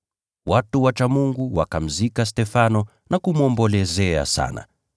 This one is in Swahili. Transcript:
Watu wacha Mungu wakamzika Stefano na kumwombolezea sana.